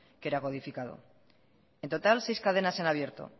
que era codificado en total seis cadenas en abierto